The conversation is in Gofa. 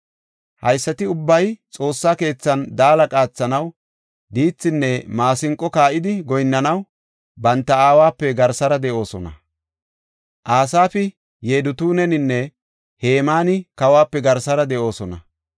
Haysati ubbay Xoossa keethan daala qaathanaw, diithinne maasinqo kaa7idi goyinnanaw banta aawape garsara de7oosona. Asaafi, Yedutuuninne Hemaani kawuwape garsara de7oosona.